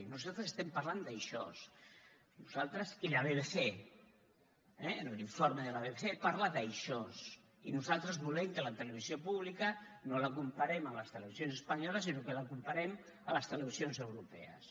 nosaltres estem parlant d’això nosaltres i la bbc eh a l’informe de la bbc parla d’això i nosaltres volem que la televisió pública no la comparem amb les televisions espanyoles sinó que la comparem amb les televisions europees